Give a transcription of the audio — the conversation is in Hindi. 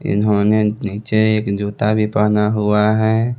इन्होंने नीचे एक जूता भी पहना हुआ है।